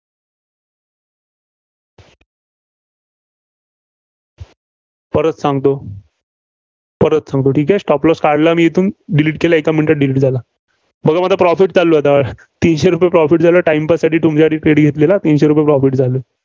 परत सांगतो. परत सांगतो, ठीक आहे. Stop loss काढला मी येथून Delete केला. एका minute त delete झाला. बघा माझा profit चालू आहे आता. तिशने रुपये profit झालं. time pass साठी तुमच्यासाठी घेतलेला तिनशे रुपये profit झालं.